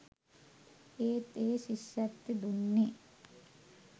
ඒත් ඒ ශිෂ්‍යත්වෙ දුන්නේ